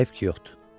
Hayf ki yoxdur.